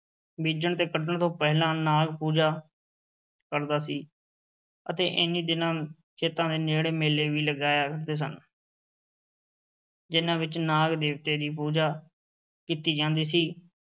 ਬੀਜਣ ਤੇ ਵੱਢਣ ਤੋਂ ਪਹਿਲਾਂ ਨਾਗ ਪੂਜਾ ਕਰਦਾ ਸੀ ਅਤੇ ਇਹਨੀ ਦਿਨਾਂ ਖੇਤਾਂ ਦੇ ਨੇੜੇ ਮੇਲੇ ਵੀ ਲੱਗਿਆ ਕਰਦੇ ਸਨ ਜਿਨ੍ਹਾਂ ਵਿੱਚ ਨਾਗ ਦੇਵਤੇ ਦੀ ਪੂਜਾ ਕੀਤੀ ਜਾਂਦੀ ਸੀ।